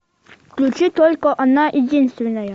включи только она единственная